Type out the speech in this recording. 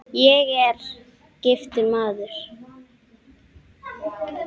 Ég er: giftur maður.